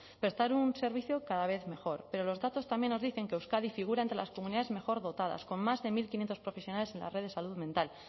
prestar un servicio cada vez mejor pero los datos también nos dicen que euskadi figura entre las comunidades mejor dotadas con más de mil quinientos profesionales en la red salud mental